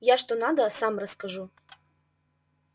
я что надо сам расскажу